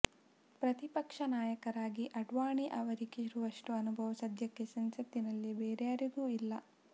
ಪ್ರತಿಪಕ್ಷ ನಾಯಕರಾಗಿ ಆಡ್ವಾಣಿ ಅವರಿಗಿರುವಷ್ಟು ಅನುಭವ ಸಧ್ಯಕ್ಕೆ ಸಂಸತ್ತಿನಲ್ಲಿ ಬೇರಾರಿಗೂ ಇಲ್ಲ